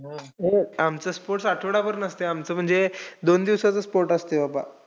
आमचं sports आठवडाभर नसतंय. आमचं म्हणजे दोन दिवसाचं sports असतंय बाबा.